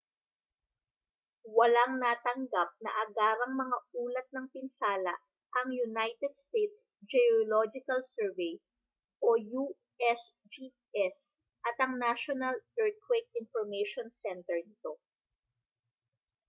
walang natanggap na agarang mga ulat ng pinsala ang united states geological survey usgs at ang national earthquake information center nito